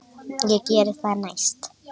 Ég geri það næst.